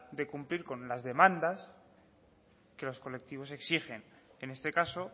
de cumplir con las demandas que los colectivos exigen en este caso